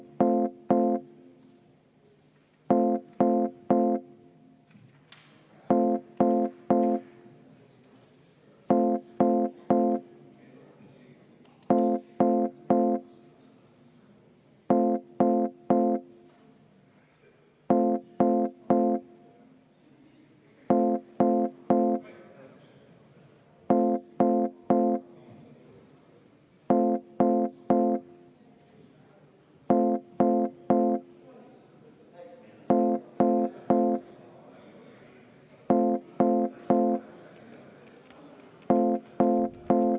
Palun EKRE fraktsiooni nimel panna see muudatusettepanek hääletusele ja enne seda palun teha vaheaeg kümme minutit.